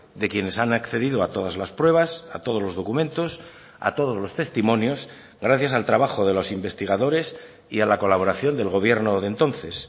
de quienes han accedido a todas las pruebas a todos los documentos a todos los testimonios gracias al trabajo de los investigadores y a la colaboración del gobierno de entonces